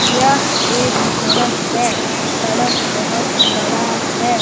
यह एक सड़क है सड़क बहुत बड़ा है।